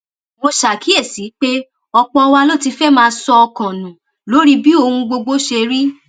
mo ṣàkíyèsí pé ọpọ wa ló ti fẹẹ máa sọ ọkàn nù lórí bí ohun gbogbo ṣe rí